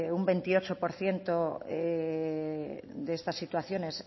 un veintiocho por ciento de estas situaciones